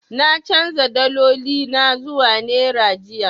Na canja daloli na zuwa naira jiya.